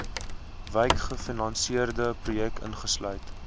wykgefinansierde projekte insluitend